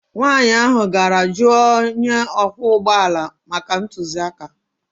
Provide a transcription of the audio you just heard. Nwanyị ahụ gara jụọ onye ọkwọ ụgbọ ala maka ntụziaka